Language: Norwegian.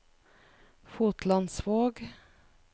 Fotlandsvåg